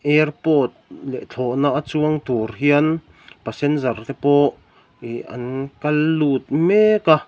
airport leh thawhna a chuang tur hian passenger te pawh ihh an kal lut mek a--